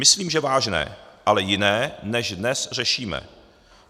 Myslím, že vážné, ale jiné, než dnes řešíme.